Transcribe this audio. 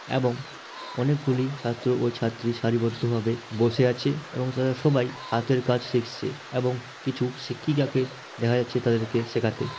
এবং অনেকগুলি ছাত্র ও ছাত্রীর সারিবদ্ধ ভাবে বসে আছে এবং তারা সবাই হাতের কাজ শিখছে এবং কিছু শিক্ষিকাকে দেখা যাচ্ছে তাদেরকে শেখাতে।